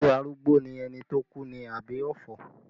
Ṣé arúgbó ni ẹni tó kú ni àbí ọ̀fọ̀?